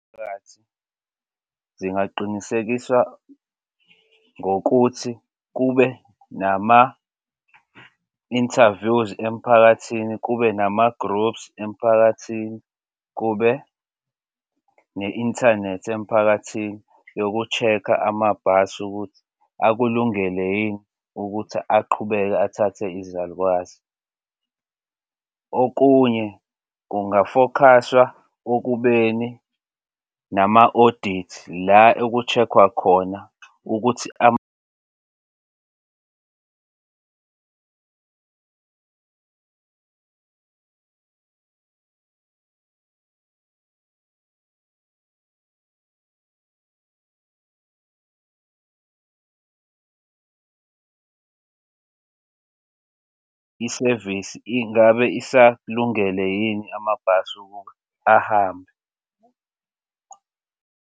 Phakathi zingaqinisekisa ngokuthi kube nama-interviews emphakathini kube nama-groups emphakathini, kube ne-inthanethi emphakathini yoku-check-a amabhasi ukuthi akulungele yini ukuthi aqhubeke athathe izalukazi. Okunye kungafokhaswa okubeni nama-audit la eku-check-wa khona ukuthi isevisi ingabe isakulungele yini amabhasi ukuba ahambe.